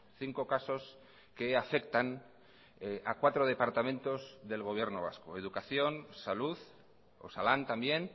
cinco casos que afectan a cuatro departamentos del gobierno vasco educación salud osalan también